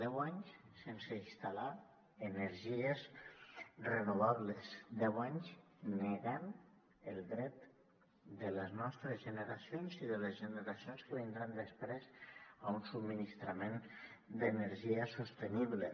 deu anys sense instal·lar energies renovables deu anys negant el dret de les nostres generacions i de les generacions que vindran després a un subministrament d’energia sostenible